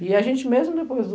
E a gente, mesmo depois do...